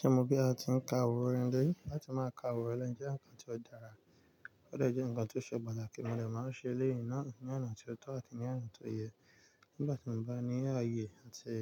Ṣe mo bí a ti ń ka awóran ilé? Láti má ka awóran ilé jẹ́ ǹkan tó dára, ó dè jẹ́ ǹkan tó ṣe pàtàkì, mo dè máa ṣe eleyi náà ní ọ̀nà tí ó tọ́ àti ní ọ̀nà tó yẹ. Nígbà tí mo bá ní ààyè àti